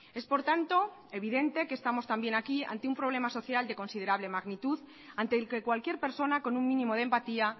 es por tanto evidente que estamos también ante un problema social de considerable magnitud ante el que cualquier persona con un mínimo de empatía